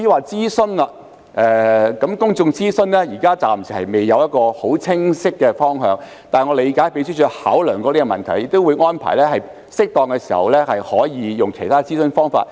至於公眾諮詢方面，現時暫未有一個很清晰的方向，但我理解秘書處也曾考量這個問題，亦會安排在適當時候採用其他諮詢方法。